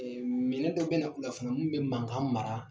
Minɛn dɔ bɛ na u la fana min bɛ mankan mara